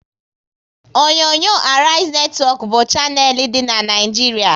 Onyonyo Arise netwọk bụ shanel dị n'Naijiria